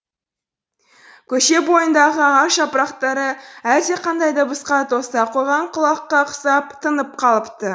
көше бойындағы ағаш жапырақтары әлдеқандай дыбысқа тоса қойған құлаққа ұқсап тынып қалыпты